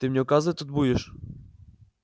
ты мне указывать тут будешь